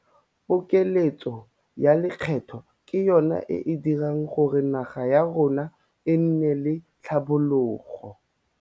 Pokeletso ya lekgetho ke yona e e dirang gore naga ya rona e nne le tlhabologo.